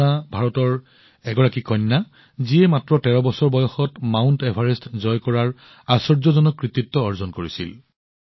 পূৰ্ণা ভাৰতৰ সেই গৰাকী কন্যা যিয়ে মাত্ৰ ১৩ বছৰ বয়সত মাউণ্ট এভাৰেষ্ট জয় কৰাৰ আশ্চৰ্যজনক কৃতিত্ব অৰ্জন কৰিছিল